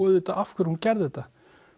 auðvitað af hverju hún gerði þetta